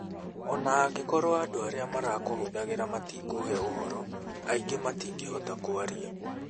O na angĩkorũo andũ arĩa marakũhũthagĩra matikũhe ũhoro, aingĩ matingĩhota kwaria.